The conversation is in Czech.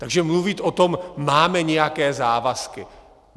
Takže mluvit o tom, máme nějaké závazky...